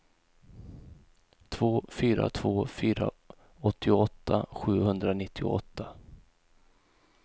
två fyra två fyra åttioåtta sjuhundranittioåtta